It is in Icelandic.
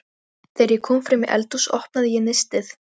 Þegar ég kom fram í eldhús opnaði ég nistið.